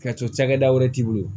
Ka cokɛda wɛrɛ t'i bolo